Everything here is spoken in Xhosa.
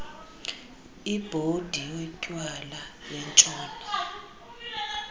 ibhodi yotywala yentshona